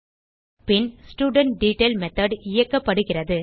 பின் ஸ்டூடன்ட்டெட்டைல் மெத்தோட் இயக்கப்படுகிறது